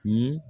Ye